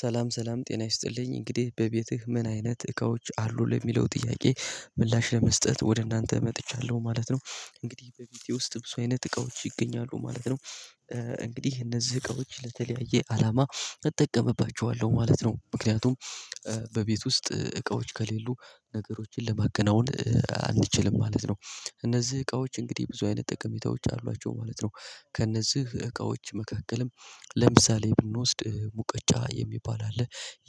ሰላም ሰላም ጤና ይስጥልኝ እንግዲህ በቤትህ ምን አይነት እቃዎች አሉ ለሚለው ጥያቄ ምላሽ ለመስጠት ወደ እናንተ መጥቻለሁ ማለት ነው። እንግዲህ በቤቴ ውስጥ ብዙ አይነት እቃዎች ይገኛሉ ማለት ነው። እንግዲህ እነዚህ እቃዎች ለተለያየ አላማ እጠቀምባቸዋለሁ ማለት ነው። ምክንያቱም በቤት ውስጥ እቃዎች ከሌሉ ነገሮችን ለማከናወን አንችልም ማለት ነው። እነዚህ እቃዎች እንግዲህ ብዙ አይነት ጠቅሜታዎች አሏቸው ማለት ነው። ከእነዚህ እቃዎች መካከልም ለምሳሌ ብንወስድ ሙቀጫ የሚባል አለ።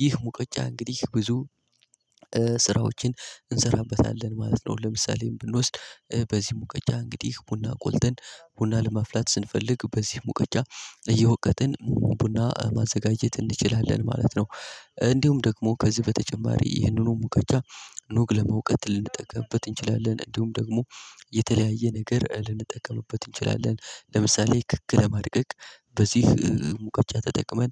ይህ ሙቀጫ እንግዲህ ብዙ ስራዎችን እንሠራበታለን ማለት ነው። ለምሳሌ ብንወስድ በዚህ ሙቀጫ እንግዲህ ቡና ቁልተን ቡና ለማፍላት ስንፈልግ በዚህ ሙቀጫ እየወቀጥን ቡና ማዘጋጀት እንችላለን ማለት ነው። እንዲሁም ደግሞ ከዚህ በተጨማሪ ይህንኑ ሙቀጫ ኑግ ለመውቀጠ ልንጠቀምበት እንችላለን። እንዲሁም ደግሞ የተለያየ ነገር ልንጠቀምበት እንችላለን። ለምሳሌ ክክ ለማድቀቅ በዚህ ሙቀጫ ተጠቅመን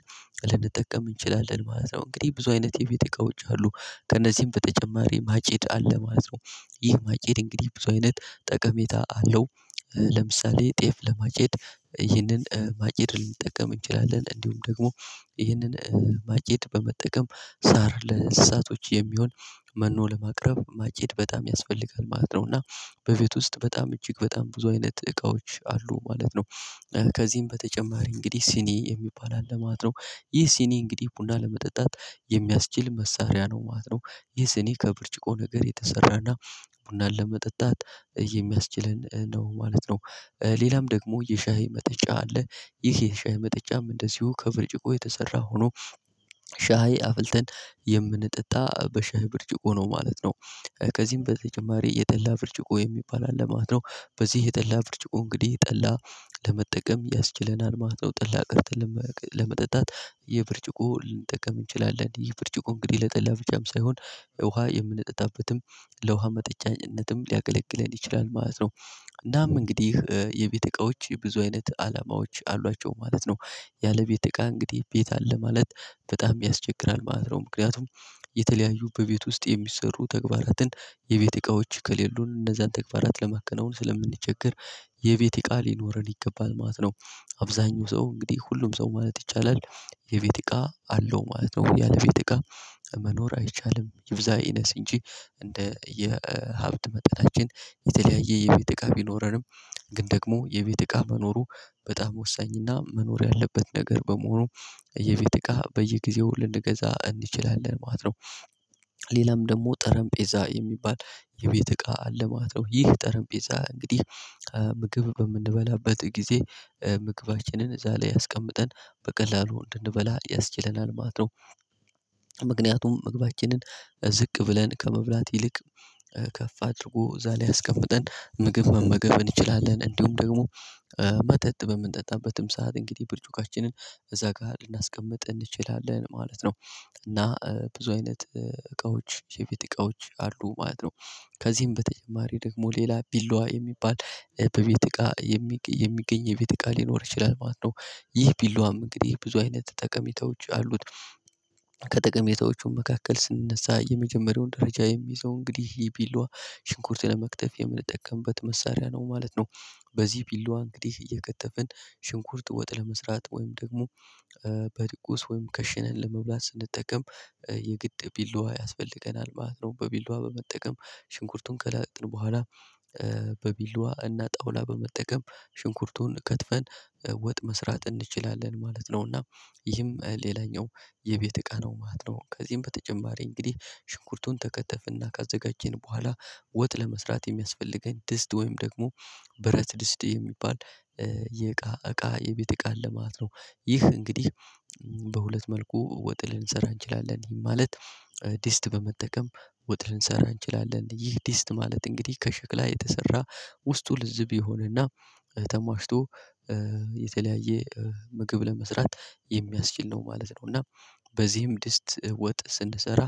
ልንጠቀም እንችላለን ማለት ነው። እንግዲህ ብዙ አይነት የቤት እቃዎች አሉ። ከእነዚህም በተጨማሪ ማጭድ አለ ማለት ነው። ይህ ማጨድ እንግዲህ ብዙ አይነት ጠቀሜታ አለው። ለምሳሌ ጤፍ ለማጨድ ይህንን ማጭድ ልንጠቀም እንችላለን እንዲሁም ደግሞ ይህንን ማጨድ በመጠቀም ሳር ለእንስሳቶች የሚሆን መኖ ለማቅረብ ማጭድ በጣም ያስፈልጋል ማለት ነው። እና በቤት ውስጥ በጣም እጅግ በጣም ብዙ አይነት እቃዎች አሉ ማለት ነው። ከዚህም በተጨማሪ እንግዲህ ሲኒ የሚባል አለ ማለት ነው። ይህ ሲኒ እንግዲህ ቡና ለመጠጣት የሚያስችል መሳሪያ ነው ማለት ነው። ይህ ስኔ ከብርጭቆ ነገር የተሰራና ቡናን ለመጠጣት የሚያስችለን ነው ማለት ነው። ሌላም ደግሞ የሻሂ መጠጫ አለ። ይህ የሻሂ መጠጫም እንደዚሁ ከብርጭቆ የተሰራ ሆኖ ሻይ አፍልተን የምንጠጣ በሻይ ብርጭቆ ነው ማለት ነው። ከዚህም በተጨማሪ የጠላ ብርጭቆ የሚባል አለ ማለት ነው። በዚህ የጠላ ብርጭቆ እንግዲህ ጠላ ለመጠቀም ያስችለናል ማለት ነው። ጠላ ቀድተን ለመጠጣት የብርጭቆ ልንጠቀም እንችላለን። ይህ ብርጭቆ እንግዲህ ለጠላ ብቻም ሳይሆን ውሃ የምንጠጣበትም ለውሃ መጠጫነትም ሊያገለግለን ይችላል ማለት ነው። እናም እንግዲህ የቤተ እቃዎች ብዙ አይነት አላማዎች አሏቸው ማለት ነው። ያለቤት እቃ እንግዲህ ቤት አለ ማለት በጣም ያስቸግራል ማለት ነው። ምክንያቱም የተለያዩ በቤት ውስጥ የሚሰሩ ተግባራትን የቤት እቃዎች ከሌሉን እነዛን ተግባራት ለማከናወን ስለምንቸገር የቤት እቃ ሊኖረን ይገባል ማለት ነው። አብዛኛው ሰው እንግዲህ ሁሉም ሰው ማለት ይቻላል የቤት እቃ አለው ማለት ነው። ያለ ቤት እቃ መኖር አይቻልም ይብዛ ይነስ እንጂ እንደ የሀብት መጠናችን የተለያየ የቤት እቃ ቢኖረንም። ግን ደግሞ የቤት እቃ መኖሩ በጣም ወሳኝና መኖር ያለበት ነገር በመሆኑ የቤት እቃ በየጊዜው ልንገዛ እንችላለን ማለት ነው። ሌላም ደግሞ ጠረንጴዛ የሚባል የቤት እቃ አለ ማለት ነው። ይህ ጠረንጴዛ እንግዲህ ምግብ በምንበላበት ጊዜ ምግባችንን እዛ ላይ አስቀምጠን በቀላሉ እንድንበላ ያስችለናል ማለት ነው። ምክንያቱም ምግባችንን ዝቅ ብለን ከመብላት ይልቅ ከፍ አድርጎ እዛ ላይ አስቀምጠን ምግብ መመገብ እንችላለን እንዲሁም ደግሞ መጠጥ በምንጠጣበትም ሰዓት እንግዲህ ብርጭቋችንን እዛ ጋር ልናስቀምጥ እንችላለን ማለት ነው። እና ብዙ አይነት እቃዎች የቤት እቃዎች አሉ ማለት ነው። ከዚህም በተጨማሪ ደግሞ ሌላ ቢላዋ የሚባል በቤት እቃ የሚገኝ የቤት እቃ ሊኖር ይችላል ማለት ነው። ይህ ቢላዋም እንግዲህ ብዙ አይነት ጠቀሜታዎች አሉት። ከጠቀሜታዎቹ መካከል ስንነሳ የመጀመሪያውን ደረጃ የሚይዘው እንግዲህ ይህ ቢላዋ ሽንኩርት ለመክተፍ የምንጠቀምበት መሳሪያ ነው ማለት ነው። በዚህ ቢላዋ እንግዲህ እየከተፍን ሽንኩርት ወጥ ለመስራት ወይም ደግሞ በድቁስ ወይም ከሽንን ለመብላት ስንጠቀም የግድ ቢላዋ ያስፈልገናል ማለት ነው። በቢላዋ በመጠቀም ሽንኩርቱን ከላጥን በኋላ በቢላዋ እና ጣውላ በመጠቀም ሽንኩርቱን ከትፈን ወጥ መስራት እንችላለን ማለት ነው። እና ይህም ሌላኛው የቤት እቃ ነው ማለት ነው። ከዚህም በተጨማሪ እንግዲህ ሽንኩርቱን ከከተፍና ካዘጋጀን በኋላ ወጥ ለመስራት የሚያስፈልገን ድስት ወይም ደግሞ ብረት ድስት የሚባል የእቃ እቃ የቤት እቃ አለ ማለት ነው። ይህ እንግዲህ በሁለት መልኩ ወጥ ልንሰራ እንችላለን ማለት ድስት በመጠቀም ወጥ ልንሰራ እንችላለን ይህ ድስት ማለት እንግዲህ ከሽክላ የተሰራ ውስጡ ልዝብ የሆነና ተሟሽቶ የተለያየ ምግብ ለመስራት የሚያስችል ነው ማለት ነው። እና በዚህም ድስት ወጥ ስንሰራ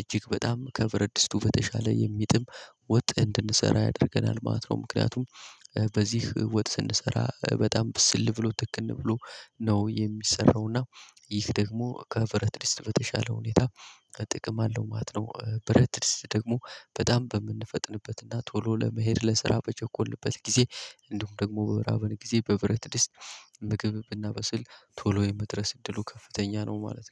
እጅግ በጣም ከብረት ድስቱ በተሻለ የሚጥም ወጥ እንድንሠራ ያደርገናል ማለት ነው። ምክንያቱም በዚህ ወጥ ስን ሰራ በጣም ብስል ብሎ ትክን ብሎ ነው የሚሰራው። እና ይህ ደግሞ ከብረት ድስት በተሻለ ሁኔታ ጥቅም አለው ማለት ነው። ብረት ድስት ደግሞ በጣም በምንፈጥንበትና ቶሎ ለመሄድ ለስራ በቸኮልንበት ጊዜ እንዲሁም ደግሞ በበራበን ጊዜ በብረት ድስት ምግብ ብናበስል ቶሎ የመድረስ እድሉ ከፍተኛ ነው ማለት ነው